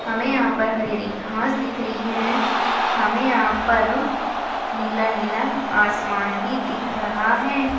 हमे यहाँ पर हरी हरी घास दिख रही है हमे यहाँ पर नीला नीला आसमान भी दिख रहा है।